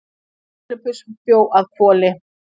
Filippus bjó að Hvoli.